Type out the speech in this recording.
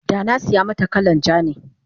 danasiya mata kalan ja ne